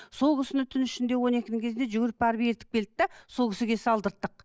сол кісіні түн ішінде он екінің кезінде жүгіріп барып ертіп келдік те сол кісіге салдырттық